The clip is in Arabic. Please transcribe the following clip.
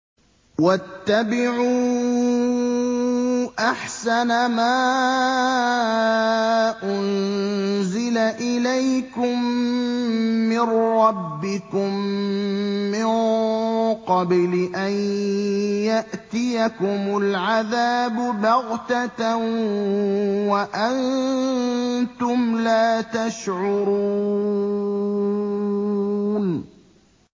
وَاتَّبِعُوا أَحْسَنَ مَا أُنزِلَ إِلَيْكُم مِّن رَّبِّكُم مِّن قَبْلِ أَن يَأْتِيَكُمُ الْعَذَابُ بَغْتَةً وَأَنتُمْ لَا تَشْعُرُونَ